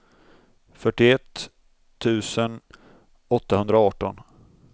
fyrtioett tusen åttahundraarton